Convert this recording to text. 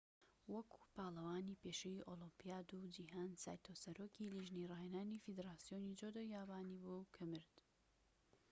وەکو پاڵەوانی پێشووی ئۆلۆمپیاد و جیهان سایتۆ سەرۆکی لیژنەی ڕاهێنانی فیدراسیۆنی جودۆی یابانی بوو کە مرد